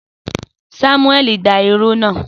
Samuẹli da iru náà.